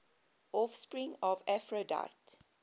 offspring of aphrodite